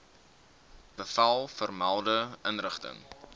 bevel vermelde inrigting